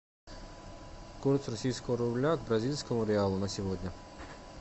курс российского рубля к бразильскому реалу на сегодня